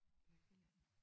Lykkeland